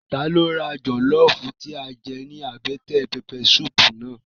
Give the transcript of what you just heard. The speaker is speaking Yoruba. Ta ló ra jọlọfu tí a jẹ ní àbẹ́tẹ̀ pẹpẹ suupu náà?